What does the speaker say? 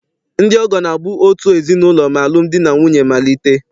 Ndị ọgọ na-abụ out ezinaụlọ ma alụm di na nwunye malite.